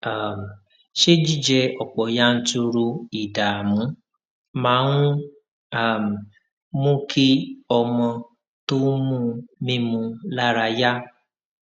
um ṣé jíjẹ òpò yanturu ìdààmú máa ń um mú kí ọmọ tó ń mu mímu lára yá